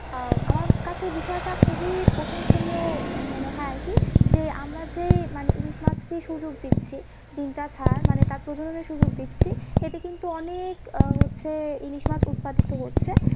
আহ আমার কাছে এই বিষয়টা খুবই প্রশংসনীয় মনে হয় আরকি যে আমরা যে মানে ইলিশ মাছকে এই সুযোগ দিচ্ছি ডিমটা ছাড়ার মানে তার প্রজনন সুযোগ দিচ্ছি এতে কিন্তু অনেক আহ হচ্ছে ইলিশ মাছ উৎপাদিত হচ্ছে